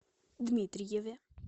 дмитриеве